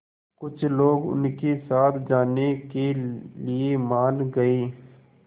कुछ लोग उनके साथ जाने के लिए मान गए